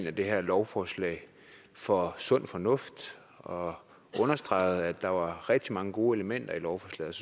af det her lovforslag for sund fornuft og understregede at der er rigtig mange gode elementer i lovforslaget